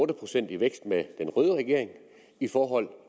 procent i vækst med den røde regering i forhold